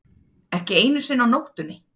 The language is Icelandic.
Ekki einu sinni á nóttunni.